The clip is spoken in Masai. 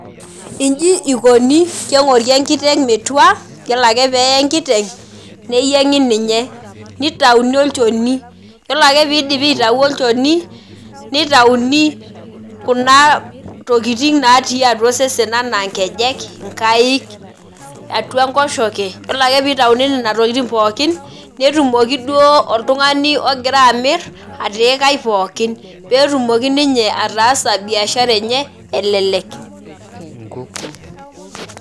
Iji ikoni, keng'ori enkiteng metua, yiolo ake peye enkiteng, neyieng'i ninye. Nitauni olchoni. Yiolo ake pidipi atau olchoni, nitauni kuna tokiting natii atua osesen anaa nkejek, inkaik, atua enkoshoke. Yiolo ake pitauni nena tokiting pookin, netumoki duo oltung'ani ogira amir, atiikai pookin. Petumoki ninye ataasa biashara enye, elelek.